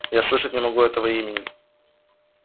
я слышать не могу этого имени